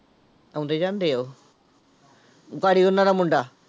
ਆਉਂਦੇ ਜਾਂਦੇ ਆ ਉਹ ਪਾਰੀ ਉਹਨਾਂ ਦਾ ਮੁੰਡਾ।